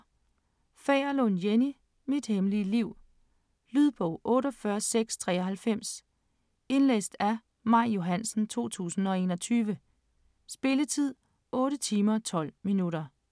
Fagerlund, Jenny: Mit hemmelige liv Lydbog 48693 Indlæst af Maj Johansen, 2021. Spilletid: 8 timer, 12 minutter.